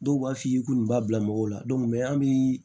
Dɔw b'a f'i ye k'u nin b'a bila mɔgɔw la an bi